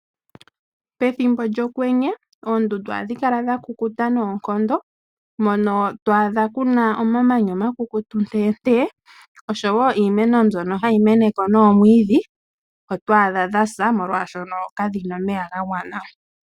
Pethimbo lyokwenye oondundu ohadhi kala dhakukuta noonkondo mono to adha ku na omamanya omakukutu nteentee osho wo iimeno mbyono hayi mene ko noomwiidhi oto adha dha sa molwaashono kadhi na omeya ga gwana.